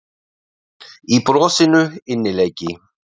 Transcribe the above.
Í brosinu innileiki.